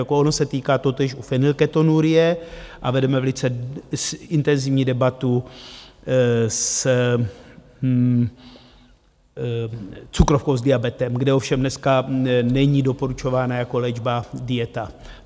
Jako ono se týká totéž u fenylketonurie a vedeme velice intenzivní debatu s cukrovkou, s diabetem, kde ovšem dneska není doporučována jako léčba dieta.